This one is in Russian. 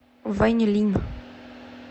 вэньлин